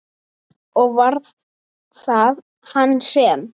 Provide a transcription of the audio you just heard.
Og var það hann sem?